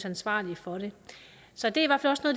ansvarlig for det så det